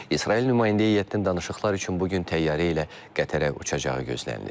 İsrail nümayəndə heyətinin danışıqlar üçün bu gün təyyarə ilə Qətərə uçacağı gözlənilir.